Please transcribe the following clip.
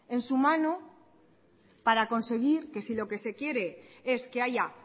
en su mano para conseguir que si lo que se quiere es que haya